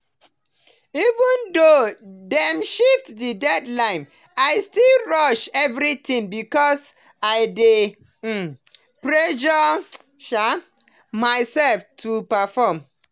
even though dem shift the deadline i still rush everything because i dey um pressure um myself to perform.